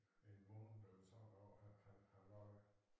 En måned eller sådan noget at at han var der